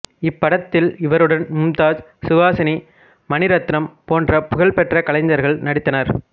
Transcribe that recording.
இப்படத்தில் இவருடன் மும்தாஜ் சுஹாசினி மணி ரத்னம் போன்ற புகழ்பெற்ற கலைஞர்கள் நடித்தனர்